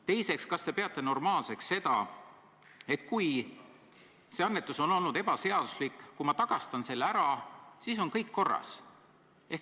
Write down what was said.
Teiseks, kas te peate normaalseks seda, et kui annetus on olnud ebaseaduslik ja ma tagastan selle, siis on kõik korras?